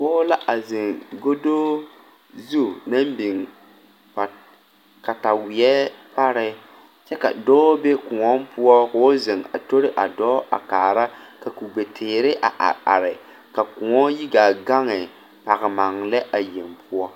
Pɔɔ la a zeŋ godo zu naŋ biŋ pat kataweɛ pare kyɛ ka dɔɔ be kòɔ poɔ koo zeŋ a tori a dɔɔ a kaara ka kugbe teere a are are ka kòɔ yi gaa gaŋe pagmaŋ lɛ a yeŋ poɔ.